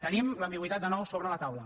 tenim l’ambigüitat de nou sobre la taula